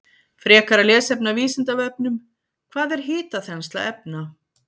Frekara lesefni af Vísindavefnum: Hvað er hitaþensla efna?